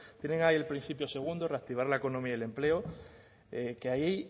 tienen ahí el principio segundo reactivar la economía y el empleo que ahí